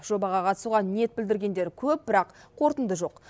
жобаға қатысуға ниет білдіргендер көп бірақ қорытынды жоқ